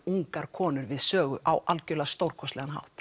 ungar konur við sögur á stórkostlegan hátt